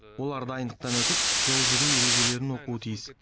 олар дайындықтан өтіп жол жүру ережелерін оқуы тиіс